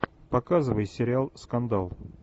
показывай сериал скандал